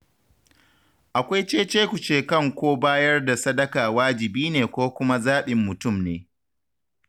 Akwai ce-ce-ku-ce kan ko bayar da sadaka wajibi ne ko kuma zaɓin mutum ne.